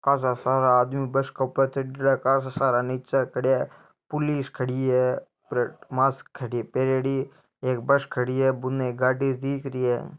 काशा सारा आदमी बस के ऊपर चढ़योड़ा काशा सारा नीचे खड़या है पुलिस खड़ी है मास्क खड़ी पहरेड़ी एक बस खड़ी है बुने एक गाड़ी दिख रही है।